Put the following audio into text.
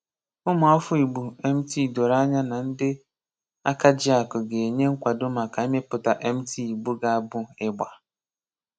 Ùmụ́afọ́ Ìgbò MT doro anya na ndị ákàjíàkụ̀ ga-enye nkwàdò maka imeputa MT Ìgbò ga-abụ ìgbà.